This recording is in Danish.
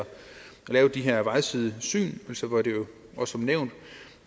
lave de her vejsidesyn som nævnt